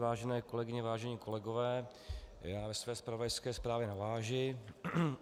Vážené kolegyně, vážení kolegové, já ve své zpravodajské zprávě navážu.